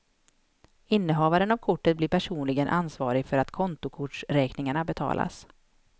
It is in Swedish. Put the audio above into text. Innehavaren av kortet blir personligen ansvarig för att kontokortsräkningarna betalas.